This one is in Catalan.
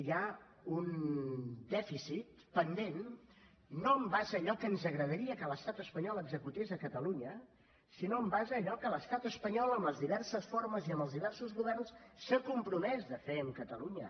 hi ha un dèficit pendent no en base a allò que ens agradaria que l’estat espanyol executés a catalunya sinó en base a allò que l’estat espanyol en les diverses formes i en els diversos governs s’ha compromès a fer amb catalunya